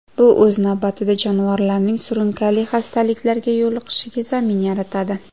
Bu, o‘z navbatida, jonivorlarning surunkali xastaliklarga yo‘liqishiga zamin yaratadi.